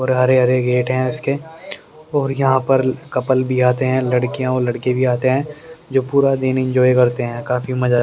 हरे हरे गेट हैं उसके और यहां पर कपल भी आते हैं लड़कियां और लड़के भी आते हैं जो पूरा दिन इंजॉय करते हैं काफी मजा--